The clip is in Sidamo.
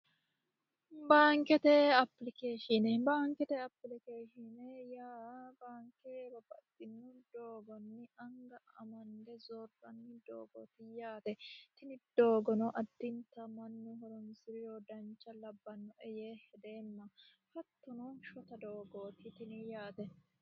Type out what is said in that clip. baankete apilikeeshine baankete apilikeeshine yaa baanke babaxxitino doogonni anga amande zoorani doogooti yaate tini doogono addinta mannu horonsiriro dancha doogooti yee hedeemma hattono shota doogooti tini yaate